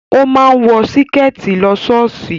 O máa ń wọ Síkẹ̀tí lọ ṣọ́ọ̀ṣì